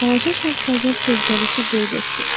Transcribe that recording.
Balaca Şahzadə sözgəlişi qeyd etdi.